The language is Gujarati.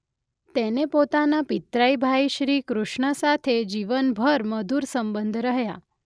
તેને પોતાના પિતરાઈ ભાઈ શ્રી કૃષ્ણ સાથે જીવનભર મધુર સંબંધ રહ્યાં.